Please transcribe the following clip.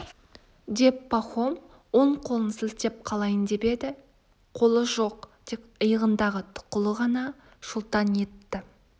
деп пахом оң қолын сілтеп қалайын деп еді қолы жоқ тек иығындағы тұқылы ғана шолтаң етті